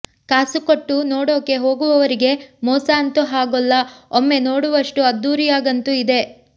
ಕಾಸು ಕೊಟ್ಟು ನೋಡೊಕೆ ಹೋಗುವವರಿಗೆ ಮೋಸ ಅಂತು ಹಾಗೋಲ್ಲ ಓಮ್ಮೆ ನೋಡುವಷ್ಟು ಅದ್ಧೂರಿಯಾಗಂತು ಇದೆ